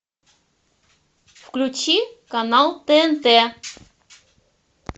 включи канал тнт